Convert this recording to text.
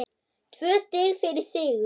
Tvö stig fyrir sigur